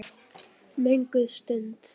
Mögnuð stund.